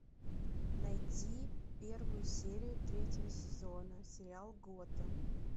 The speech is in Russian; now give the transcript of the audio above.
найти первую серию третьего сезона сериал готэм